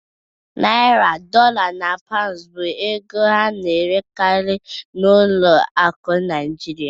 Naịra, Dọla na Paụndụ bụ ego a na-erekarị n'ụlọ akụ Naịjirịa.